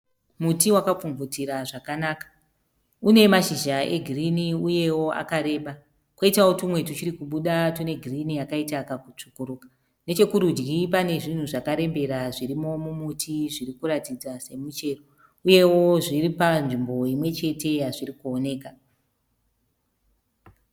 Muti wakapfumvutira zvakanaka une mashizhizha egirini uyewo akareba koitawo tumwe twegirini yakaita kutsvukuruka tuchiri kubuda. Necherudyi kune zvinhu zvakarembera zvakaratidzika semichero uyewo zviri panzvimbo imwe chete yazviri kuoneka.